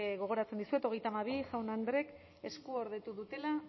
gogoratzen dizuet hogeita hamabi jaun andreek eskuordetu dutela